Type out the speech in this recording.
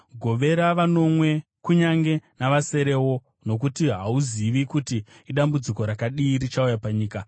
Govera vanomwe, kunyange navaserewo; nokuti hauzivi kuti idambudziko rakadii richauya panyika.